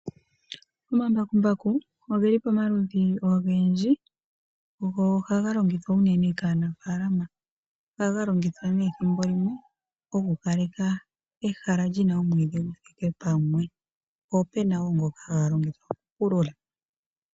Omambakumbaku ogeli pomaludhi ogendji go ohaga longithwa unene kaanafaalama ohaga longithwa nee ethimbolimwe oku opaleka ehala lina omwiidhi kagu dhike pamwe ,po opena ngoka haya longitha okupulula.